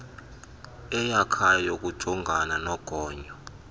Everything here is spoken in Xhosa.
eyakhayo yokujongana nogonyo